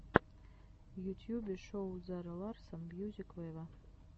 в ютьюбе шоу зара ларсон мьюзик вево